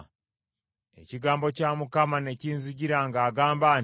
Ekigambo kya Mukama ne kinzijira ng’agamba nti,